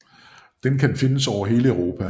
Den kan findes over hele Europa